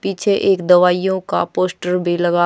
पीछे एक दवाइयां का पोस्टर भी लगा--